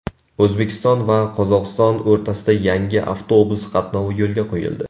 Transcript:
O‘zbekiston va Qozog‘iston o‘rtasida yangi avtobus qatnovi yo‘lga qo‘yildi.